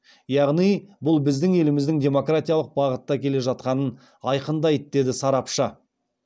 яғни бұл біздің еліміздің демократиялық бағытта келе жатқанын айғақтайды деді сарапшы